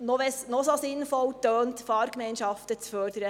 – Selbst wenn es noch so sinnvoll klingt, Fahrgemeinschafen zu fördern: